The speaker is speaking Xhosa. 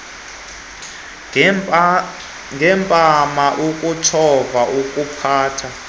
ngempama ukutshova ukuphatha